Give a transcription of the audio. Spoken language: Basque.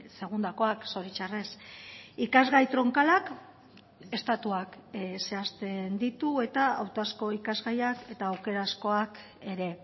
segundakoak zoritxarrez ikasgai tronkalak estatuak zehazten ditu eta hautazko ikasgaiak eta aukerazkoak ere